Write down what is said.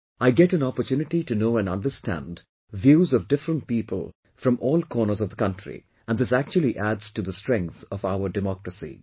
I get an opportunity to know and understand views of different people from all corners of the country and this actually adds to the strength of our democracy